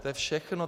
To je všechno.